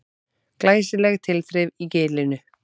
Glæsileg tilþrif í Gilinu